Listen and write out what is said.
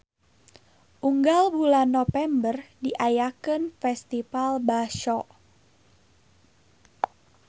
Unggal bulan Nopember diayakeun Festival Basho.